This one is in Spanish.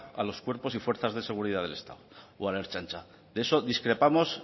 a los cuerpos y fuerzas de seguridad del estado o a la ertzaintza de eso discrepamos